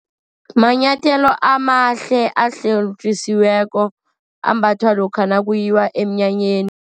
Manyathelo amahle ahlotjisiweko, ambathwa lokha nakuyiwa eminyanyeni.